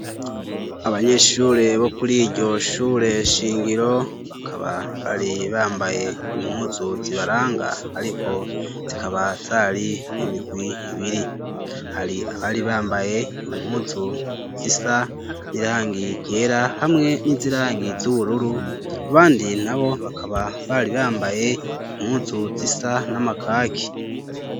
Abanyeshure bo kuri iryo shure shingiro, bakaba bari bambaye impuzu zibaranga, ariko zikaba zari mu mirwi ibiri. Hari abari bambaye impuzu zisa n'irangi ryera, hamwe n'izirangi z'ubururu . Abandi n'abo bakaba bari bambaye impuzu zisa n'amakaki.